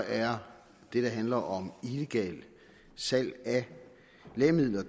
er det der handler om illegalt salg af lægemidler